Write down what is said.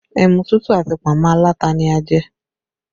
Ẹmu tútù àti pọ̀nmọ́ alata ni a jẹ